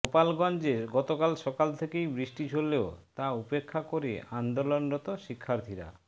গোপালগঞ্জে গতকাল সকাল থেকেই বৃষ্টি ঝরলেও তা উপেক্ষা করে আন্দোলনরত শিক্ষার্থীরা